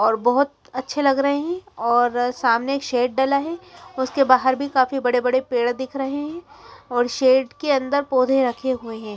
और बहुत अच्छे लग रहे हैं और सामने एक शेड डला है उसके बाहर भी काफी बड़े बड़े पेड़ दिख रहे हैं और शेड के अंदर पौधे रखे हुए हैं।